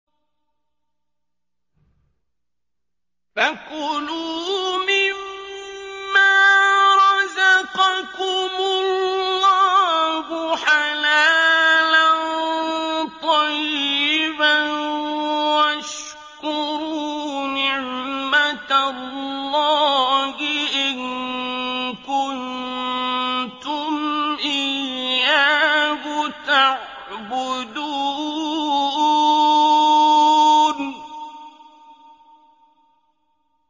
فَكُلُوا مِمَّا رَزَقَكُمُ اللَّهُ حَلَالًا طَيِّبًا وَاشْكُرُوا نِعْمَتَ اللَّهِ إِن كُنتُمْ إِيَّاهُ تَعْبُدُونَ